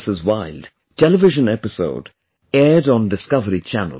Wild' television episode aired on Discovery Channel